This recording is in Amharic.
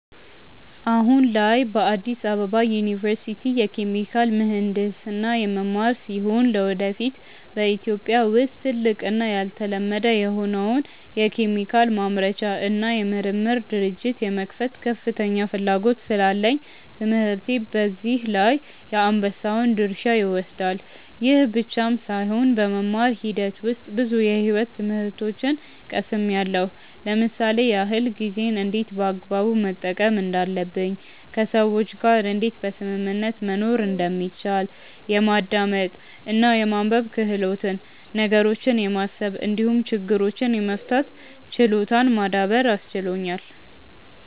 አሁን ላይ በአዲስ አበባ ዩኒቨርሲቲ የኬሚካል ምሕንድስና የምማር ሲሆን ለወደፊት በኢትዮጵያ ውስጥ ትልቅ እና ያልተለመደ የሆነውን የኬሚካል ማምረቻ እና የምርምር ድርጅት የመክፈት ከፍተኛ ፍላጎት ስላለኝ ትምህርቴ በዚህ ላይ የአንበሳውን ድርሻ ይወስዳል። ይህ ብቻም ሳይሆን በመማር ሂደት ውስጥ ብዙ የሕይወት ትምህርቶችን ቀስምያለው ለምሳሌ ያክል፦ ጊዜን እንዴት በአግባቡ መጠቀም እንዳለብኝ፣ ከሰዎች ጋር እንዴት በስምምነት መኖር እንደሚቻል፣ የማዳመጥ እና የማንበብ ክህሎትን፣ ነገሮችን የማሰብ እንዲሁም ችግሮችን የመፍታት ችሎታን ማዳበር አስችሎኛል።